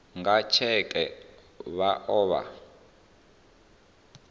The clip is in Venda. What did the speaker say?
nga tsheke vha o vha